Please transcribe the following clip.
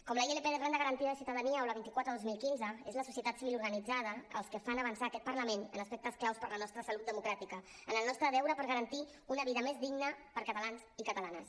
com la ilp de renda garantida de ciutadania o la vint quatre dos mil quinze és la societat civil organitzada els que fan avançar aquest parlament en aspectes clau per a la nostra salut democràtica en el nostre deure per garantir una vida més digna per a catalans i catalanes